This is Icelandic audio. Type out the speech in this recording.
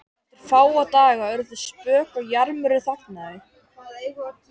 Eftir fáa daga urðu þau spök og jarmurinn þagnaði.